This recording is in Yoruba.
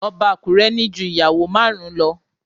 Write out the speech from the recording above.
Ọba Akure ní ju ìyàwó márùn-ún lo